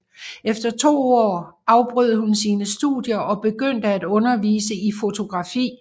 Efter to år afbrød hun sine studier og begyndte at undervise i fotografi